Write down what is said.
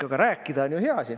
Aga rääkida on ju hea.